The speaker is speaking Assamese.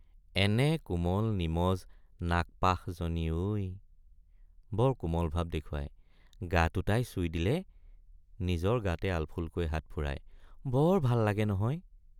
এনে কোমল নিমজ নাগপাশ জনী ঐ বৰ কোমল ভাব দেখুৱাই গাটো তাই চুই দিলে নিজৰ গাতে আলফুলকৈ হাতফুৰাই বৰ ভাল লাগে নহয়।